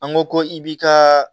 An ko ko i bi ka